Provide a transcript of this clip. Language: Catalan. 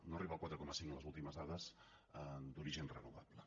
no arriba al quatre coma cinc en les últimes dades d’origen renovable